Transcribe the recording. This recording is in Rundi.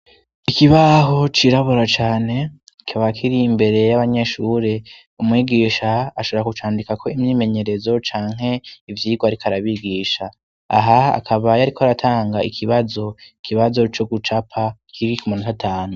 ikibaho cirabura cane kikaba kiri imbere y'abanyeshuri umwigisha ashobora gucandika ko imyimenyerezo canke ivyigwa ariko arabigisha aha akaba yariko aratanga ikibazo kibazo co gucapa kiri kumunota atanu